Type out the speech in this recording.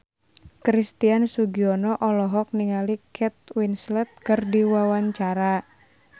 Christian Sugiono olohok ningali Kate Winslet keur diwawancara